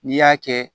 N'i y'a kɛ